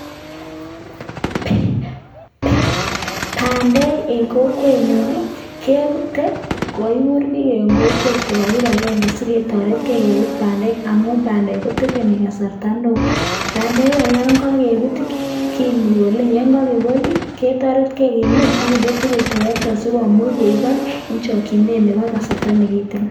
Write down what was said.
Bandek en kokwenyun ii, kebute kogakigur bik en kokwet kobwa kibagenge si ketoretge kebut bandek amun bandek ko tekeni kasarata neo. Bandek kora yon ko kebut ii kebolee, yon ko kebal ii, ketoretge kiyum ak kinde tugul terekta asi komuch koibok en chokinet nebo kasarta ne kiten.